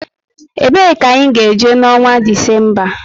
E bee ka anyị ga-eje na onwa Disemba?